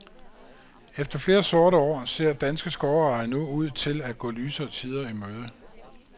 Efter flere sorte år, ser danske skovejere nu ud til at gå lysere tider imøde.